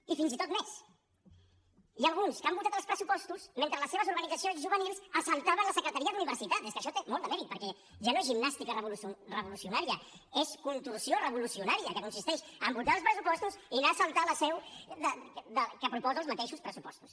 i encara més n’hi ha alguns que han votat els pressupostos mentre les seves organitzacions juvenils assaltaven la secretaria d’universitats que això té molt de mèrit perquè ja no és gimnàstica revolucionària és contorsió revolucionària que consisteix en votar els pressupostos i anar a assaltar la seu del que proposa els mateixos pressupostos